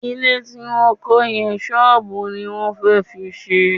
Ilé tí wọ́n kọ́ yẹn, ṣọ́ọ̀bù ni wọ́n fẹ́ fi ṣe